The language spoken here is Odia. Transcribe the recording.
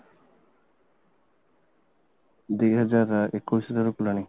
ଦୁଇ ହଜାର ଏକୋଇଶି ରୁ କଲିଣି